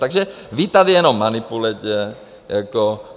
Takže vy tady jenom manipulujete.